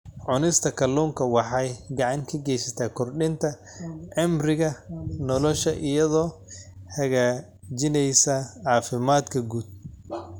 Cunista kalluunka waxay gacan ka geysataa kordhinta cimriga nolosha iyadoo hagaajinaysa caafimaadka guud.